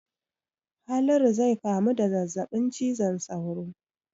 Haliru zai kamu da zazzabin cizon sauro.